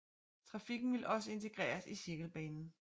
Trafikken ville også integreres i cirkelbanen